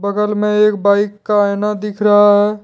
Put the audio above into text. बगल में एक बाइक का आईना दिख रहा है।